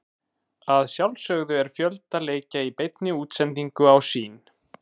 Að sjálfsögðu er fjölda leikja í beinni útsendingu á Sýn.